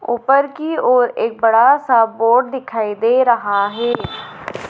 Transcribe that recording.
ऊपर की ओर एक बड़ा सा बोर्ड दिखाई दे रहा है।